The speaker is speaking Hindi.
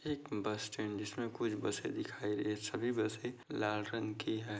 एक बस स्टैंड जिसमे कुछ बसे दिखाई-- सभी बसे लाल रंग की है।